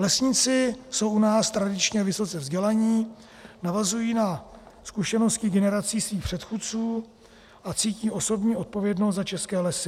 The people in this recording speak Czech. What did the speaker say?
Lesníci jsou u nás tradičně vysoce vzdělaní, navazují na zkušenosti generací svých předchůdců a cítí osobní odpovědnost za české lesy.